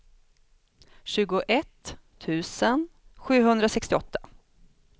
tjugoett tusen sjuhundrasextioåtta